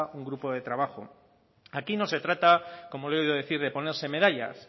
un grupo de trabajo aquí no se trata como le he oído decir de ponerse medallas